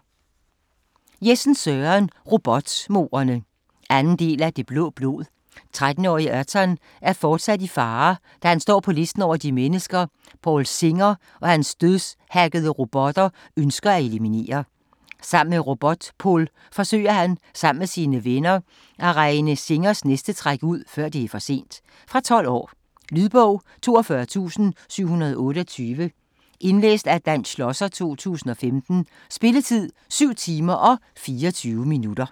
Jessen, Søren: Robotmordene 2. del af Det blå blod. 13-årige Erton er fortsat i fare, da han står på listen over de mennesker Paul Singer og hans dødshackede robotter ønsker at eliminere. Sammen med RoboPol forsøger han, sammen med sine venner, at regne Singers næste træk ud før det er for sent. Fra 12 år. Lydbog 42728 Indlæst af Dan Schlosser, 2015. Spilletid: 7 timer, 24 minutter.